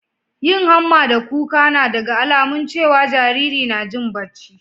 yin hamma da kuka na daga alamun cewa Jariri na Jin bacci